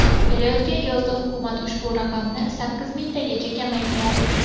Kelayotgan yozda hukumat ushbu raqamni sakkiz mingtagacha kamaytiradi.